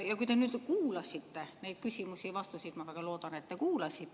Ja kui te kuulasite neid küsimusi ja vastuseid, ma väga loodan, et te kuulasite ...